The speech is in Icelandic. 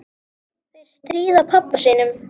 Þeir stríða pabba sínum.